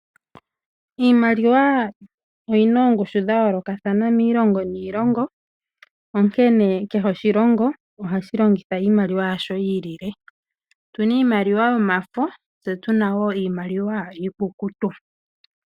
Iimaliwa oyi na oongushu dha yoolokathana miilongo niilongo, onkene kehe oshilongo ohashi longitha iimaliwa yashi yi ilile. Otu na iimaliwa yomafo, tse tu na wo iimaliwa iikukutu.